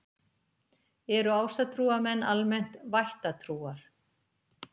Eru ásatrúarmenn almennt vættatrúar?